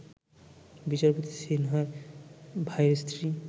বিচারপতি সিনহার ভাইয়ের স্ত্রী